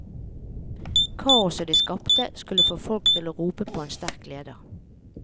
Kaoset de skapte skulle få folket til å rope på en sterk leder.